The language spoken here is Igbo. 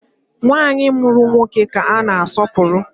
Nwanyị mụrụ nwoke ka a na asọpụrụ